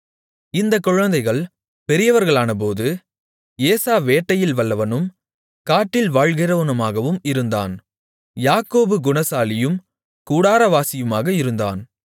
இந்தக் குழந்தைகள் பெரியவர்களானபோது ஏசா வேட்டையில் வல்லவனும் காட்டில் வாழ்கிறவனாகவும் இருந்தான் யாக்கோபு குணசாலியும் கூடாரவாசியுமாக இருந்தான்